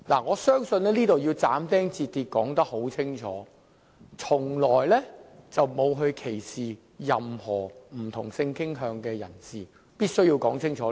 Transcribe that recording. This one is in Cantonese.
我要就此斬釘截鐵地說明白，我們從來沒有歧視不同性傾向的人士，這點我是必須要說清楚的。